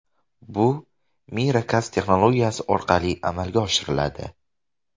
Bu Miracast texnologiyasi orqali amalga oshiriladi.